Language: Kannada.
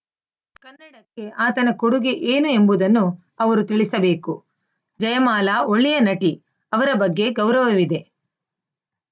ಕನ್ನಡಕ್ಕೆ ಆತನ ಕೊಡುಗೆ ಏನು ಎಂಬುದನ್ನು ಅವರು ತಿಳಿಸಬೇಕು ಜಯಮಾಲಾ ಒಳ್ಳೆಯ ನಟಿ ಅವರ ಬಗ್ಗೆ ಗೌರವವಿದೆ